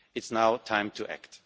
It is now time to act.